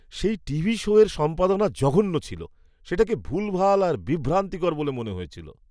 সেই টিভি শোয়ের সম্পাদনা জঘন্য ছিল। সেটাকে ভুলভাল আর বিভ্রান্তিকর বলে মনে হয়েছিল।